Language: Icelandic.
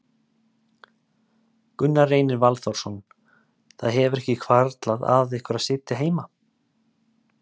Gunnar Reynir Valþórsson: Það hefur ekki hvarflað að ykkur að sitja heima?